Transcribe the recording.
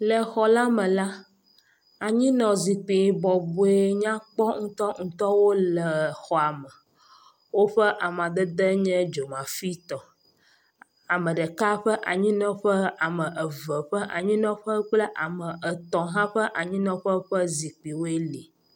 Le xɔ la me la anyinɔzikpui bɔbɔe nyakpɔ ŋutŋutɔwo le xɔa me woƒe amadede nye dzomafitɔ. Ame ɖeka ƒe anyinɔƒe, ame eve ƒe anyinɔƒe kple ame etɔ̃ hã ƒe anyinɔƒe ƒe zikpuiwoe li.